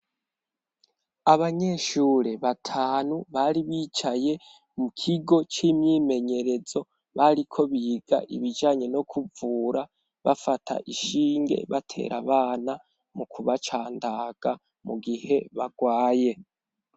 Abanyeshure batanu bari bicaye mu kigo c'imyimenyerezo bariko biga ibijanye no kuvura bafata ishinge batera abana mu kubacandaga mu gihe bagwaye.